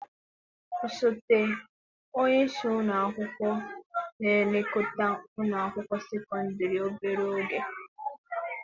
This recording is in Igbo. Osote onye isi ụlọ akwụkwọ na-elekọta ụlọ akwụkwọ sekọndrị obere oge.